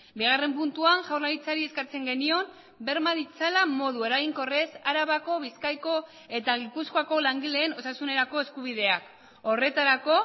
bigarren puntuan jaurlaritzari eskatzen genion berma ditzala modu eraginkorrez arabako bizkaiko eta gipuzkoako langileen osasunerako eskubideak horretarako